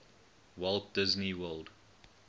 walt disney world